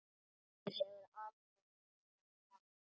Ég teygði úr mér.